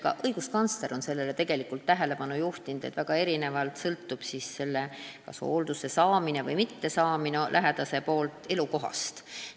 Ka õiguskantsler on tähelepanu juhtinud, et väga palju sõltub hoolduse saamine inimese elukohast.